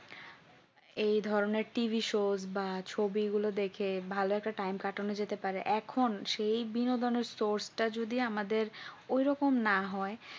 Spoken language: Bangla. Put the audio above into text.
এই ধরনের T. V. show বা ছবি গুলো দেখে ভালো একটা time কাটানো যেতে পারে এখন সেই বিনোদনের source টা যদি আমাদের ওই রকম না হয়